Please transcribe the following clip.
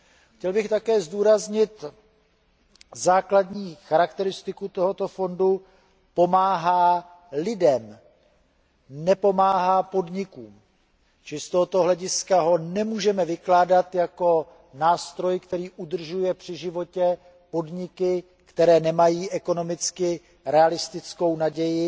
Chtěl bych také zdůraznit základní charakteristiku tohoto fondu pomáhá lidem, nepomáhá podnikům, čili z tohoto hlediska ho nemůžeme vykládat jako nástroj, který udržuje při životě podniky, které nemají z ekonomického hlediska realistickou naději